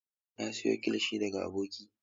Na siyo kilishi daga aboki.